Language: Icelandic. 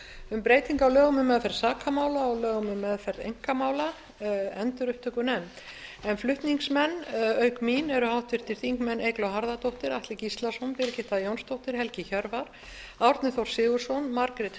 um breytingu á lögum um meðferð sakamála og lögum um meðferð einkamála flutningsmenn auk mín eru háttvirtir þingmenn eygló harðardóttir atli gíslason birgitta jónsdóttir helgi hjörvar árni þór sigurðsson margrét